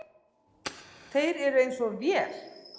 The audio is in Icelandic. Þeir eru eins og vél.